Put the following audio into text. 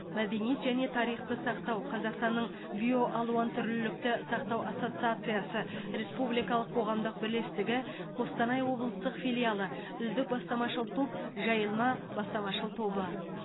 мәдениет және тарихты сақтау қазақстанның биоалуантүрлілікті сақтау ассоциациясы республикалық қоғамдық бірлестігі қостанай облыстық филиалы үздік бастамашыл топ жайылма бастамашыл тобы